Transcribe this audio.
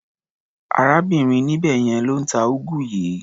Arábìnrin níbẹ̀ yẹn ló ń ta úgú yìí.